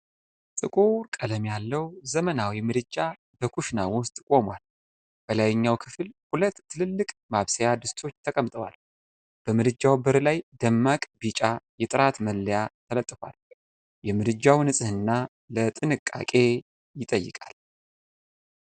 ጥቁር ቀለም ያለው ዘመናዊ ምድጃ በኩሽና ውስጥ ቆሟል። በላይኛው ክፍል ሁለት ትልልቅ ማብሰያ ድስቶች ተቀምጠዋል። በምድጃው በር ላይ ደማቅ ቢጫ የጥራት መለያ ተለጥፏል፤ የምድጃው ንጽህና ለጥንቃቄ ይጠይቃል።